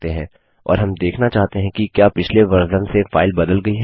और हम देखना चाहते हैं कि क्या पिछले वर्जन से फाइल बदल गई है